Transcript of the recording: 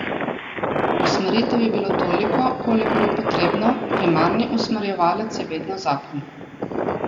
Usmeritev je bilo toliko, kolikor je potrebno, primarni usmerjevalec je vedno zakon.